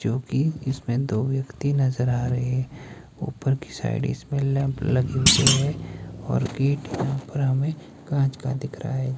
जोकि इसमें दो व्यक्ति नजर आ रहें ऊपर की साइड इसमें लैंप लगे हुए हैं और गेट पर हमें कांच का दिख रहा है।